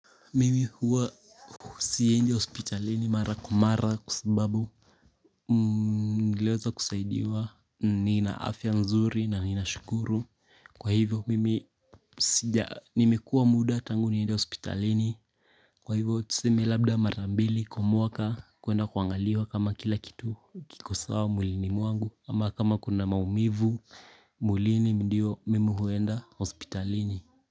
Mimi huwa siendi hospitalini mara kwa mara kwa sababu Niliweza kusaidiwa nina afya nzuri na ninashukuru kwa hivyo mimi sija nimekua muda tangu niende hospitalini Kwa hivyo tuseme labda marambili kwa mwaka kuenda kuangaliwa kama kila kitu kiko sawa mwilini mwangu ama kama kuna maumivu mwilini ndiyo mimi huenda hospitalini.